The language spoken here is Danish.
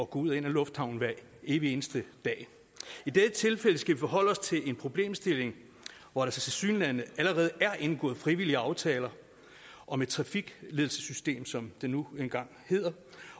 gå ud og ind af lufthavnen hver evig eneste dag i dette tilfælde skal vi forholde os til en problemstilling hvor der tilsyneladende allerede er indgået frivillige aftaler om et trafikledelsessystem som det nu engang hedder